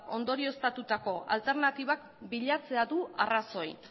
ondorioztatutako alternatibak bilatzea du arrazoi